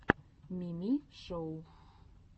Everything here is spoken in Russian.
мими шоу